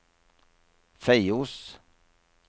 Feios